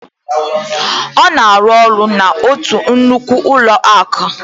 Ọ na-arụ ọrụ n'otu nnukwu ụlọakụ